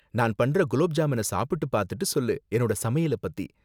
நான் பண்ற குலாப் ஜாமூன சாப்பிட்டு பாத்துட்டு சொல்லு என்னோட சமையலைப் பத்தி.